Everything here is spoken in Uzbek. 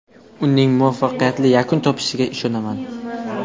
Uning muvaffaqiyatli yakun topishiga ishonaman”.